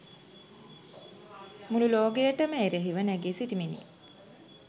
මුලු ලෝකයටම එරහිව නැඟී සිටිමිනි.